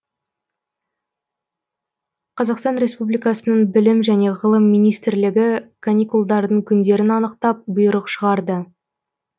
қазақстан республикасының білім және ғылым министрлігі каникулдардың күндерін анықтап бұйрық шығарды